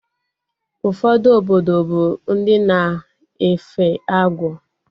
Ụfọdụ obodo bụ ndị na-efe agwọ